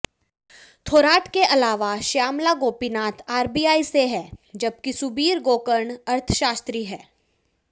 थोराट के अलावा श्यामला गोपीनाथ आरबीआई से हैं जबकि सुबीर गोकर्ण अर्थशास्त्री हैं